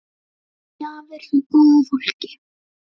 Gjafir frá góðu fólki.